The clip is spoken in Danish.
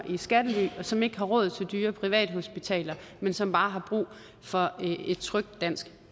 i skattely og som ikke har råd til dyre privathospitaler men som bare har brug for et trygt dansk